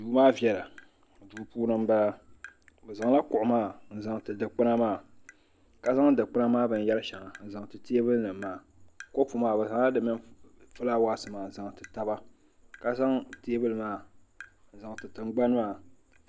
duu maa viɛla duu puuni n bala bi zaŋla kuɣu maa n zaŋti dikpuna maa ka zaŋ dikpuna maa binyɛri shɛŋa n zaŋti teebuli nim maa kɔpu maa bi zaŋla di mini fulaawasi maa n zaŋti taba ka zaŋ teebuli maa n zaŋti tingbani maa